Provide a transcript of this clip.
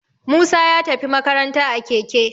Musa ya tafi makaranta a Keke